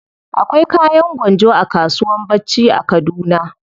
Akwai kayan gwanjo a kasuwan bacci a kaduna.